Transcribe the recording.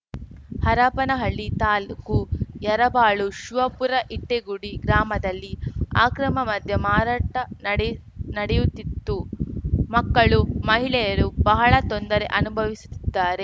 ಹರಪನಹಳ್ಳಿ ತಾಲ್ಲುಕು ಯರಬಾಳು ಶಿವಪುರ ಇಟ್ಟಿಗುಡಿ ಗ್ರಾಮದಲ್ಲಿ ಅಕ್ರಮ ಮದ್ಯ ಮಾರಾಟ ನಡೆ ನಡೆಯುತ್ತಿತ್ತು ಮಕ್ಕಳು ಮಹಿಳೆಯರು ಬಹಳ ತೊಂದರೆ ಅನುಭವಿಸುತ್ತಿದ್ದಾರೆ